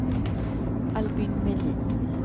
Albin Melin